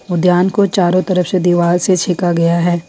उद्यान को चारों तरफ से दीवार से छेका गया है।